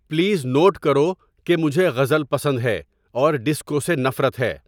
please note کرو کہ مجھے غزل پسند ہے اور ڈسکو سے نفرت ہے